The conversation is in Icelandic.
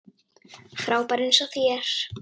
Frábær eins og þér.